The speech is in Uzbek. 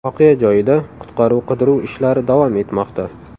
Voqea joyida qutqaruv-qidiruv ishlari davom etmoqda.